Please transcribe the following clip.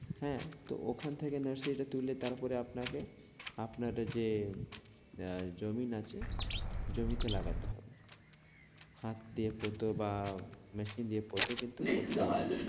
হ্যাঁ তো ওখান থেকে nursery টা তুলে তারপরে আপনাকে আপনার যে আহ জমিন আছে জমিতে লাগাতে হবে। হাত দিয়ে পুতো বা machine পুতো কিন্তু পুততে হবে।